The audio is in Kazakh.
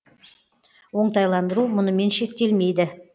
оңтайландыру мұнымен шектелмейді